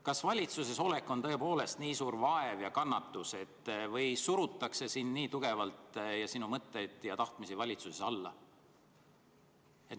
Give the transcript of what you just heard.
Kas valitsuses olek on tõepoolest nii suur vaev ja kannatus või surutakse sind ja sinu mõtteid ja tahtmisi valitsuses nii tugevalt alla?